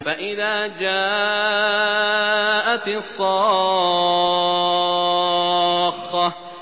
فَإِذَا جَاءَتِ الصَّاخَّةُ